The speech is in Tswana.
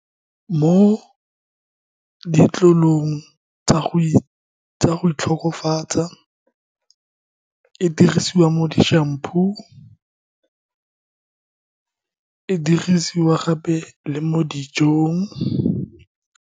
Mo tsa go itlhokofatsa, e dirisiwa mo di-shampoo, e dirisiwa gape le mo dijong.